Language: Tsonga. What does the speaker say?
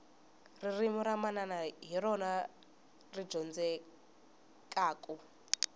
ririmi ra manana hi rona ri dyondzekaku